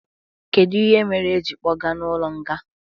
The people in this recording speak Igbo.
Kedu ihe mere e ji kpoga n' ụlo nga?